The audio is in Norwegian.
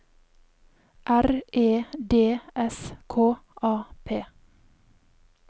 R E D S K A P